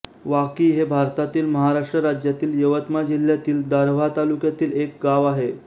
वाकी हे भारतातील महाराष्ट्र राज्यातील यवतमाळ जिल्ह्यातील दारव्हा तालुक्यातील एक गाव आहे